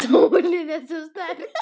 Sólin er svo sterk.